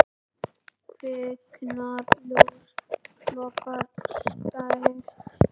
Kviknar ljós, logar skært.